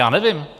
Já nevím.